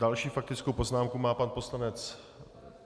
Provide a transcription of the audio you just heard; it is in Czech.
Další faktickou poznámku má pan poslanec...